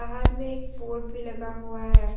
बाहर में एक बोर्ड भी लगा हुआ है।